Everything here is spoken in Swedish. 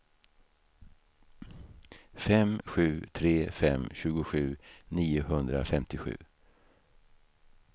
fem sju tre fem tjugosju niohundrafemtiosju